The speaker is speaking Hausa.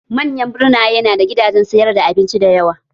Manyan birnaye na da gidanjen sayar da abinci dayawa